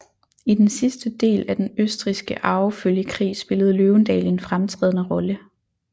I den sidste del af Den østrigske arvefølgekrig spillede Løvendal en fremtrædende rolle